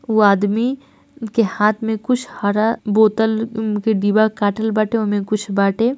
वो आदमी के हाथ में कुछ हरा बोतल के डिब्बा काटल बाटे ओमे कुछ बाटे।